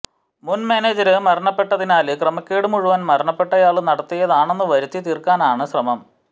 മുന് മാനേജര് മരണപ്പെട്ടതിനാല് ക്രമക്കേട് മുഴുവന് മരണപ്പെട്ടയാള് നടത്തിയതാണെന്ന് വരുത്തിത്തീര്ക്കാനാണ് ശ്രമം